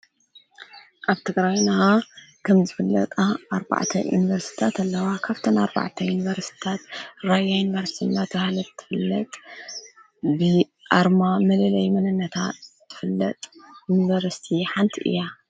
ኣብ ተግራዩና ከም ዝፍለጣ ኣርባዕተ ዩንበርስታት ኣለዋ ካፍተና ኣርባዕተ ዩንበርስታት ራይያ እንበርስስናት ሃለት ትፍለጥ ብ ኣርማ መልለይ መነነታ ትፍለጥ ዩንበርስቲ ሓንቲ እያ